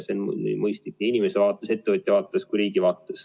See on mõistlik inimeste vaates, ettevõtja vaates, riigi vaates.